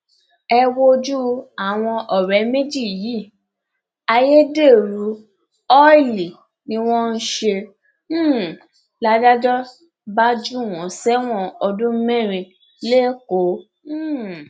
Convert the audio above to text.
ẹ wojú àwọn ọrẹ méjì yìí ayédèrú ọìlì ni wọn ń ṣe um ládàjọ bá jù wọn sẹwọn ọdún mẹrin lẹkọọ um